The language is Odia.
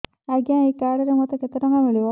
ଆଜ୍ଞା ଏଇ କାର୍ଡ ରେ ମୋତେ କେତେ ଟଙ୍କା ମିଳିବ